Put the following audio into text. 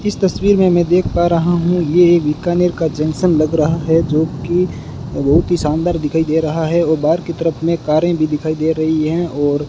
इस तस्वीर में मैं देख पा रहा हूं ये एक बीकानेर का जंक्शन लग रहा है जो कि बहुत ही शानदार दिखाई दे रहा है और बाहर की तरफ में कारें भी दिखाई दे रही हैं और --